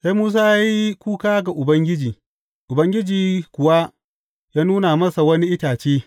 Sai Musa ya yi kuka ga Ubangiji, Ubangiji kuwa ya nuna masa wani itace.